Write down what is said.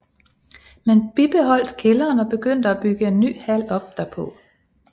Man bibeholdt kælderen og begyndte at bygge en ny hal op derpå